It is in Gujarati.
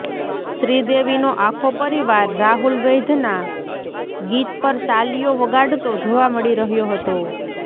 શ્રીદેવીનો આખો પરિવાર રાહુલ વૈદ્યના ગીત પર તાલિયો વગાડતો જોવા મળી રહ્યો હતો